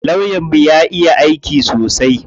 Lawyan mu ya iya aiki sosai.